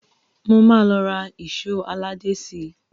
Mo máa lọ ra èṣó aládé síi